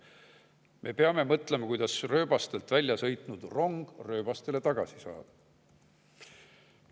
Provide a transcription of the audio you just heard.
Me peame mõtlema, kuidas rööbastelt väljasõitnud rong rööbastele tagasi saada.